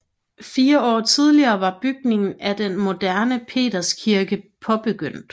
Fire år tidligere var bygningen af den moderne Peterskirke påbegyndt